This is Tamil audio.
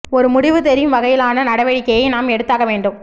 ஒரு முடிவு தெரியும் வகையிலான நடவடிக்கையை நாம் எடுத்தாக வேண்டும்